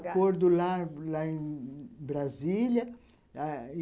Acordo lá lá em Brasília.